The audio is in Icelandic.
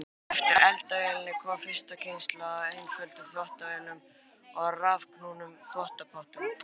Á eftir eldavélinni kom fyrsta kynslóð af einföldum þvottavélum og rafknúnum þvottapottum.